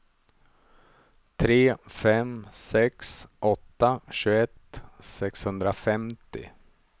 tre fem sex åtta tjugoett sexhundrafemtio